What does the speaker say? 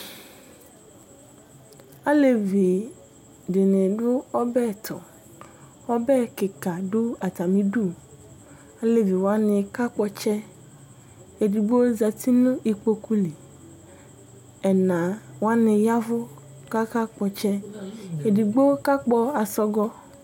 Alevi dini dʋ ɔbɛtʋ ɔbɛ tʋ ɔbɛ kika dʋ atami idʋ alevi wani kakpɔ ɔtsɛ edigbo zati nʋ ikpokʋ li ɛna wani ya ɛvʋ kʋ akakpɔ ɔtsɛ edigbo kakpɔ asɔgɔ